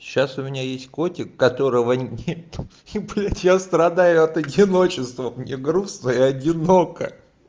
сейчас у меня есть котик которого я страдаю от одиночества мне грустно и одиноко